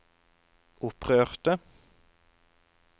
opprørte